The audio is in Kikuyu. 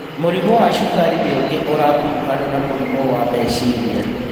Mũrimũ wa cukari nĩ ũngĩ ũrakuruhanio na mũrimũ wa meciria